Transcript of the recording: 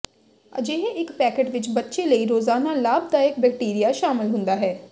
ਅਜਿਹੇ ਇਕ ਪੈਕੇਟ ਵਿਚ ਬੱਚੇ ਲਈ ਰੋਜ਼ਾਨਾ ਲਾਭਦਾਇਕ ਬੈਕਟੀਰੀਆ ਸ਼ਾਮਲ ਹੁੰਦਾ ਹੈ